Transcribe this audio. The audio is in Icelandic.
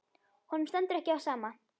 Honum stendur ekki á sama.